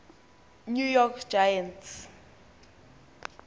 new york giants